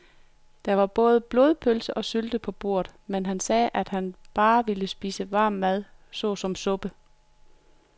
Der var både blodpølse og sylte på bordet, men han sagde, at han bare ville spise varm mad såsom suppe.